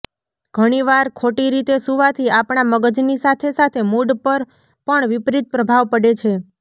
ઘણીવાર ખોટી રીતે સુવાથી આપણા મગજની સાથે સાથે મુડ પર પણ વિપરીત પ્રભાવ પડે છે